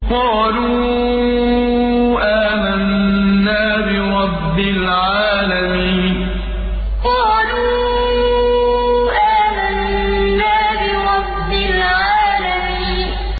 قَالُوا آمَنَّا بِرَبِّ الْعَالَمِينَ قَالُوا آمَنَّا بِرَبِّ الْعَالَمِينَ